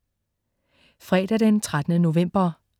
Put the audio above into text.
Fredag den 13. november